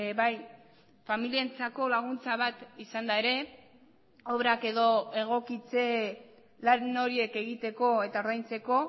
bai familientzako laguntza bat izanda ere obrak edo egokitze lan horiek egiteko eta ordaintzeko